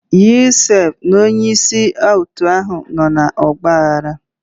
Yusuf na onye isi otu ahụ nọ n'ọgba aghara.